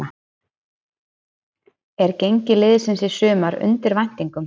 Er gengi liðsins í sumar undir væntingum?